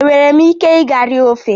Enwere m ike ịga rie ofe?